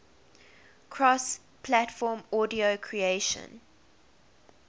cross platform audio creation